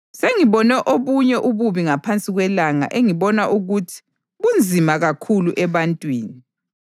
Sengibone obunye ububi ngaphansi kwelanga engibona ukuthi bunzima kakhulu ebantwini: